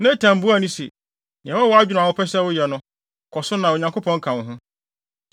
Natan buae se, “Nea ɛwɔ wʼadwene mu a wopɛ sɛ woyɛ no, kɔ so na Onyankopɔn ka wo ho.”